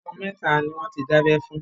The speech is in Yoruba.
Ọmọ mẹ́ta ni wọn ti dábẹ́ fún.